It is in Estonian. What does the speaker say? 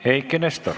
Eiki Nestor.